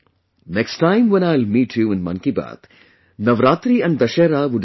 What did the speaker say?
Next time when I will meet you in 'Mann Ki Baat', Navratri and Dussehra would have been over